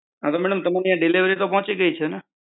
હા તો madam તમારી delivery તો પહુંચી ગયી છે ને.